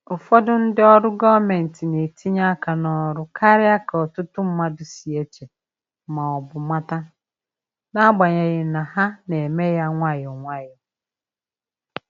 Ụfọdụ ndị ọrụ gọọmentị na-etinye aka n’ọrụ karịa ka ọtụtụ mmadụ si eche ma ọ bụ mata, n’agbanyeghị na ha na-eme ya nwayọ.